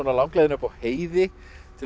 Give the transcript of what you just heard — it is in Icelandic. langleiðina upp á heiði til að